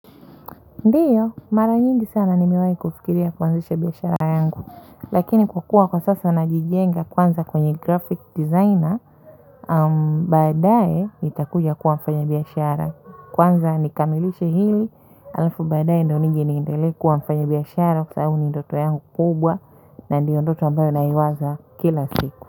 Ndio, mara nyingi sana nimewahi kufikiria kuanzisha biashara yangu, lakini kwa kuwa kwa sasa najijenga kwanza kwenye graphic designer, baadae nitakuja kuwa mfanyibiashara. Kwanza nikamilishe hili, alafu baadae ndo nije niendele kuwa mfanyibiashara, kwa sababu ni ndoto yangu kubwa, na ndio ndoto ambayo naiwaza kila siku.